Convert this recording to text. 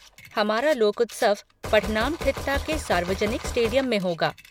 हमारा लोकोत्सव पठनामठित्ता के सार्वजनिक स्टेडियम में होगा।